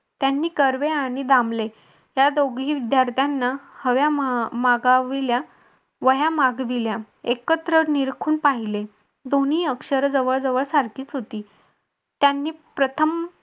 त्यांनी कर्वे आणि दामले त्या दोघी विद्यार्थ्यांना हव्या मागविल्या वह्या मागविल्या एकत्र निरखून पाहिले दोन्ही अक्षर जवळ जवळ सारखीच होती. त्यांनी प्रथम